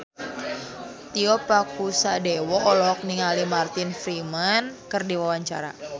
Tio Pakusadewo olohok ningali Martin Freeman keur diwawancara